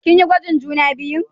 Kin yi gwajin juna biyun?